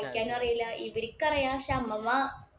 വായിക്കാനും അറിയില്ല ഇവര്ക്ക്‌ അറിയാം. പക്ഷേ അമ്മമ്മ